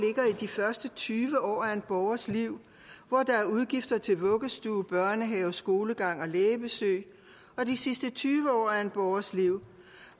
de første tyve år af en borgers liv hvor der er udgifter til vuggestue børnehave skolegang og lægebesøg og de sidste tyve år af en borgers liv